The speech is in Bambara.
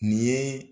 Nin ye